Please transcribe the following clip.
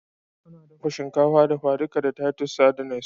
Ana dafa shinkafa dafa-duka da titus sardines